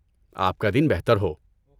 آپ کا دن بہتر ہو۔